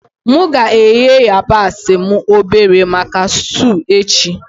M ga-eghe yabasi m obere maka stuu echi.